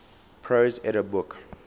prose edda book